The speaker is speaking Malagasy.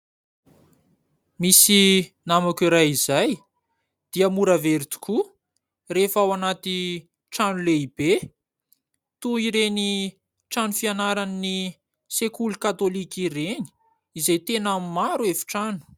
Misy namako iray izay dia mora very tokoa rehefa ao anaty trano lehibe, toy ireny trano fianaran'ny sekoly katolika ireny izay tena maro efitrano.